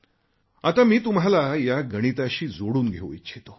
आता मी तुम्हाला या गणिताशी जोडून घेऊ इच्छितो